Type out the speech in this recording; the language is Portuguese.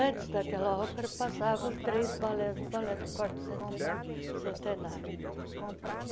Antes daquela ópera, passavam três balés do balé do quarto cente centenário.